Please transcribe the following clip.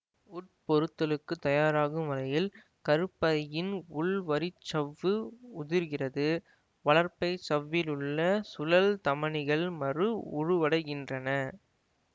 உட்பொருத்தலுக்கு தயாராகும் வகையில் கருப்பையின் உள்வரிச்சவ்வு உதிர்கிறது வளர்பை சவ்விலுள்ள சுழல் தமனிகள் மறு உருவடைகின்றன